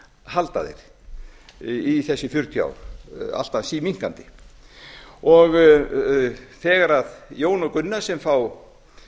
halda þeir í þessi fjörutíu ár alltaf síminnkandi þegar jón og gunna sem fá